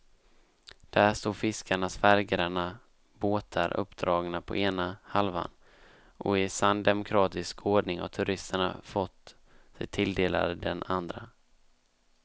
Där står fiskarnas färggranna båtar uppdragna på ena halvan och i sann demokratisk ordning har turisterna fått sig tilldelade den andra.